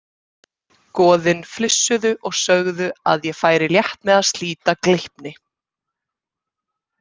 Goðin flissuðu og sögðu að ég færi létt með að slíta Gleipni.